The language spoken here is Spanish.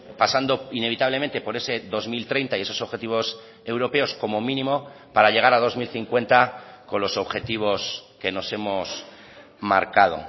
pasando inevitablemente por ese dos mil treinta y esos objetivos europeos como mínimo para llegar a dos mil cincuenta con los objetivos que nos hemos marcado